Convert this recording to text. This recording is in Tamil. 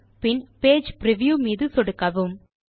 பைல் பின் பேஜ் பிரிவ்யூ மீது சொடுக்கவும்